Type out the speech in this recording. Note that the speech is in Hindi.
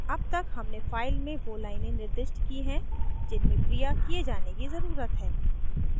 अब तक हमने file में so लाइनें निर्दिष्ट की हैं जिनमें क्रिया किये जाने की ज़रुरत है